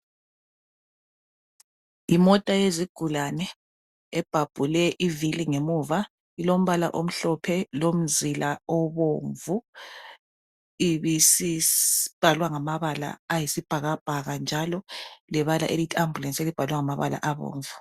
Imota yezigulane ebhabhule ivili ngemuva ilombala omhlophe lomzila obomvu ibisibhalwa ngamabala ayisibhakabhaka njalo lebala elithi ambulance elibhalwe ngamabala abomvu